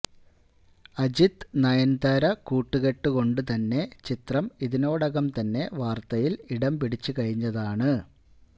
അജിത് നയൻതാര കൂട്ടുകെട്ട് കൊണ്ട് തന്നെ ചിത്രം ഇതിനോടകം തന്നെ വാര്ത്തയിൽ ഇടംപിടിച്ചുകഴിഞ്ഞതാണ്